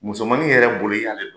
Musomanin yɛrɛ bolo i ya